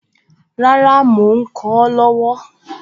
Rárá, mò ń kọ ọ́ lọ́wọ́